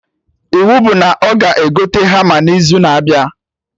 Iwu bụ na ọ ga egote hama na izu na-abịa